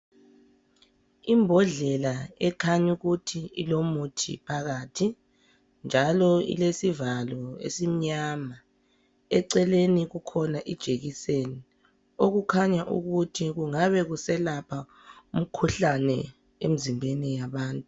Imbodlela ekanya ukuthi ilomuthi phakathi njalo ilesivalo esimnyama eceleni kukhona ijekiseni okukhanya ukuthi kungabe kuselapha emizimbeni yabantu.